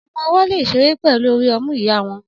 Ọmọ-ọwọ́ lè ṣeré pẹ̀lú orí ọmú ìyá wọn